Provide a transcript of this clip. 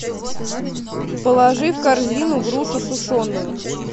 положи в корзину грушу сушеную